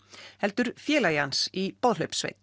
heldur félagi hans í